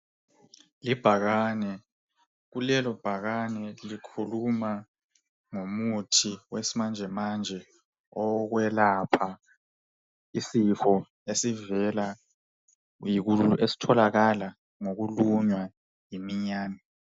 Ibhakane, kulelo bhakane likhuluma ngomuthi wesimanje manje owokwelapha isifo esitholakala ngokulunywa yiminyane.